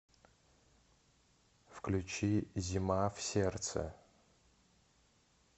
включи зима в сердце